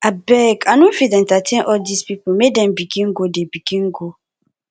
abeg i no fit entertain all dese pipo make dem begin go dem begin go